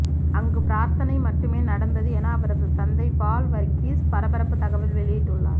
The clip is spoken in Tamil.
அங்கு பிரார்த்தனை மட்டுமே நடந்தது என அவரது தந்தை பால் வர்கீஸ் பரபரப்பு தகவல் வெளியிட்டுள்ளார்